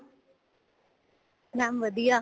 mam ਵਧੀਆ